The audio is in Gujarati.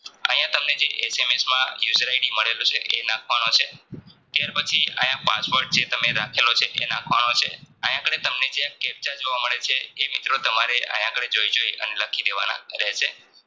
તમને જે એસેમેસ માં User ID મળેલો છે એનાખવાનો છે ત્યાર પછી આયા password જે તમે રાખે લો છે એ નાખવાનો છે આયા તમને જે capture જોવા મળે છે એ મિત્રો તમારે આયા આગળ જોઈ જોઈ લખી દેવાના રહશે